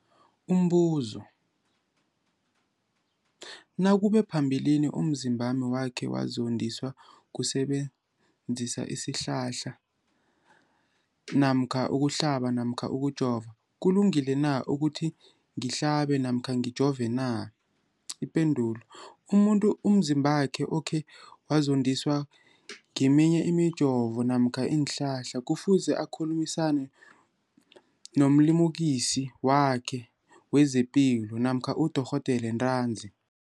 Umbuzo, nakube phambilini umzimbami wakhe wazondiswa kusebenzisa isihlahla namkha ukuhlaba namkha ukujova, kulungile na ukuthi ngihlabe namkha ngijove nje? Ipendulo, umuntu umzimbakhe okhe wazondiswa ngeminye imijovo namkha iinhlahla kufuze akhulumisane nomlimukisi wakhe wezepilo namkha nodorhoderakhe ntanzi.